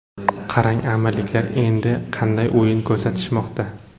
Qarang, Amirliklar endi qanday o‘yin ko‘rsatishmoqda.